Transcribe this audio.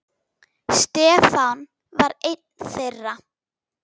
Stefán var einn þeirra.